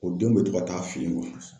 O denw be to ka taa fe yen.